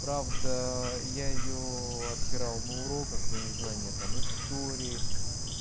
правда я её обсирал на уроках за незнание там истории